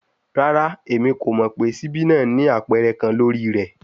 Rara, Emi ko mọ pe sibi naa ni apẹrẹ kan lori rẹ